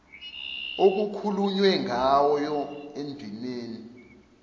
okukhulunywe ngayo endimeni